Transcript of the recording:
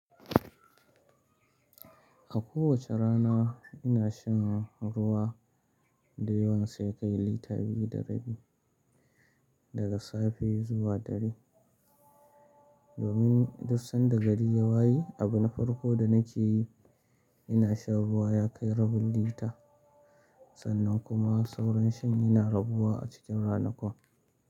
A kowace rana ina shan ruwa da yawan sai ya kai lita biyu da rabi daga safe zuwa dare. Domin dusan da gari ya waye, abin farko da nake yi ina sha ruwa ya kai rabul lita. Sannan kuma sauran shin ina rabuwa a cikin ranakun.